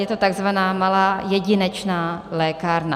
Je to takzvaná malá jedinečná lékárna.